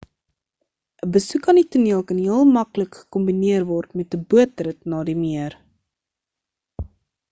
'n besoek aan die toneel kan heel maklik gekombineer word met 'n bootrit na die meer